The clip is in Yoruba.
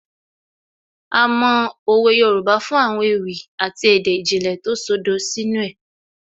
A mọ òwe Yorùbá fún àwọn ewì àti èdè ìjìnlẹ̀ tó ṣodo sínú ẹ̀